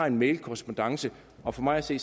en mailkorrespondance og for mig at se